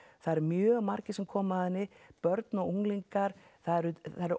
það eru mjög margir sem koma að henni börn og unglingar það eru